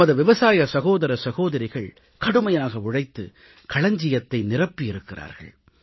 நமது விவசாய சகோதர சகோதரிகள் கடுமையாக உழைத்து களஞ்சியத்தை நிரப்பி இருக்கிறார்கள்